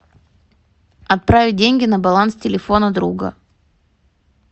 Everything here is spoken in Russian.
отправить деньги на баланс телефона друга